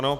Ano.